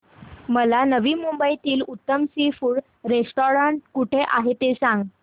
मला नवी मुंबईतलं उत्तम सी फूड रेस्टोरंट कुठे आहे ते सांग